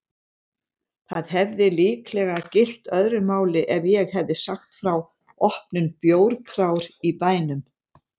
Það hefði líklega gilt öðru máli ef ég hefði sagt frá opnun bjórkrár í bænum!